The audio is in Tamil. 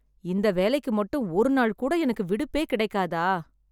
இந்த வேலைக்கு மட்டும் ஒரு நாள் கூட எனக்கு விடுப்பே கிடைக்காதா..